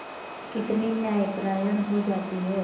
कितनी न्यायपरायण हो जाती है